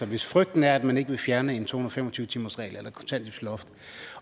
hvis frygten er at man ikke vil fjerne en to hundrede og fem og tyve timersregel eller kontanthjælpsloft